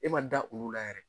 E ma da olu la yɛrɛ.